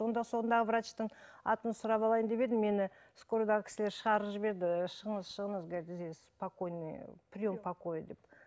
онда сондағы врачтың атын сұрап алайын деп едім мені скорыйдағы кісілер шығарып жіберді шығыңыз шығыңыз говорит здесь спокойный прием покой деп